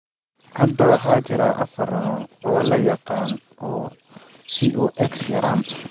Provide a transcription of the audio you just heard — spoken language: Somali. Hadda waxa jira afaar nooc oo la yaqaan oo COX yaraan.